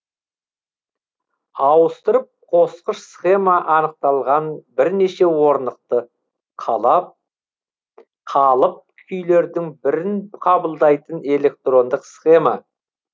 ауыстырып қосқыш схема анықталған бірнеше орнықты қалап қалып күйлердің бірін қабылдайтын электрондық схема